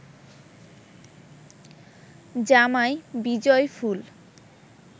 জামায় বিজয়ফুল